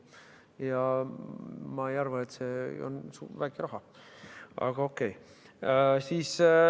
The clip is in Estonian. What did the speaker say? Ja ma ei arva, et see on väike raha, aga okei.